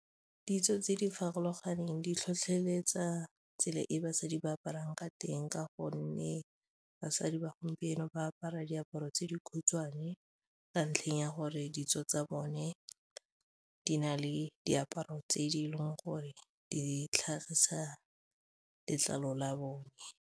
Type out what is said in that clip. Ditso tse di farologaneng di tlhotlheletsa tsela e basadi ba aparang ka teng ka gonne basadi ba gompieno ba apara diaparo tse di khutshwane ka ntlheng ya gore ditso tsa bone di na le diaparo tse di e leng gore di tlhagisa letlalo la bone.